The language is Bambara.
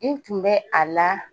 N tun bɛ a la